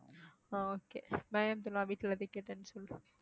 ஆஹ் okay bye Abdullah வீட்டுல எல்லாத்தையும் கேட்டேன்னு சொல்லு